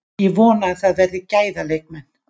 Ég vona að það verði gæða leikmenn.